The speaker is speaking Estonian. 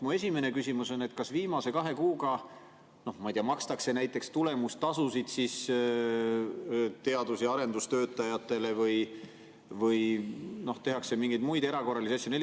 Mu esimene küsimus on: kas viimase kahe kuuga, ma ei tea, makstakse näiteks tulemustasusid teadus- ja arendustöötajatele või tehakse mingeid muid erakorralisi asju?